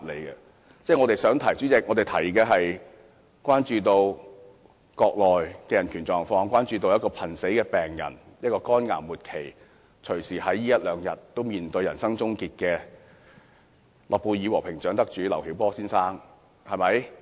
主席，我們想提出的是，我們關注國內的人權狀況，關注一位這一兩天隨時面對人生終結的末期肝癌患者、諾貝爾和平獎得主劉曉波先生。